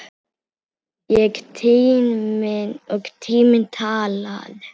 Og tíminn talar.